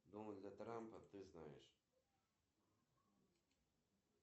сбер какие новгородская земля ты знаешь